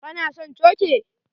Ka na son coke?